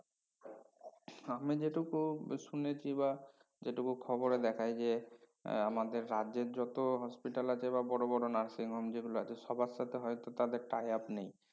আমি যেটুকু শুনেছি বা যেটুকু খবরে দেখায় যে এর আমাদের রাজ্যের যত hospital আছে বা বড় বড় nursing home যেগুলো আছে সবার সাথে তাদের হয়তো tie up নেই